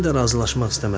Matilda razılaşmaq istəmədi.